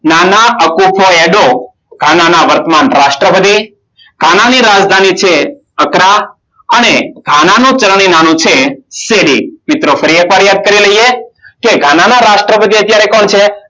ગાના વર્તમાન રાષ્ટ્રપતિ. ગાના ની રાજધાની છે અક્કરા અને ગાનાનું ચલણી નાણું છે સેડી. મિત્રો ફરી એકવાર યાદ કરી લઈએ, કે ગાના ના રાષ્ટ્રપતિ અત્યારે કોણ છે?